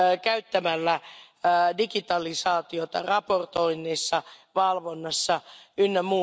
Käyttämällä digitalisaatiota raportoinnissa, valvonnassa jne.